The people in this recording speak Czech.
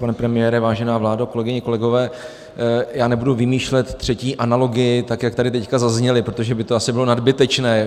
Pane premiére, vážená vládo, kolegyně, kolegové, já nebudu vymýšlet třetí analogii, tak jak tady teď zazněly, protože by to asi bylo nadbytečné.